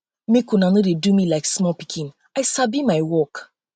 make una no dey do me like small pikin small pikin i sabi my work